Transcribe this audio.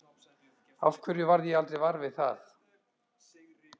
Af hverju varð ég aldrei var við það?